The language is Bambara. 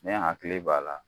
Ne hakili b'a la